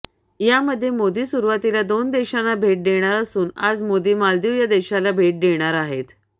यामध्ये मोदी सुरुवातीला दोन देशांना भेट देणार असून आज मोदी मालदीव या देशाला तर